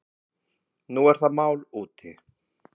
Nú er það mál úti.